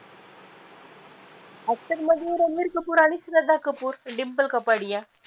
actor मधी रणबीर कपूर आणि श्रद्धा कपूर, डिंपल कपाडिया